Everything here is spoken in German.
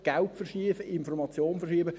Geld verschieben, Information verschieben.